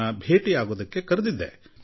ನನ್ನನ್ನು ಭೇಟಿ ಮಾಡಲು ಅವರನ್ನು ಕರೆಸಿಕೊಂಡಿದ್ದೆ